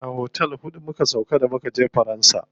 A otel huɗu muka sauƙa da mukaje faransa.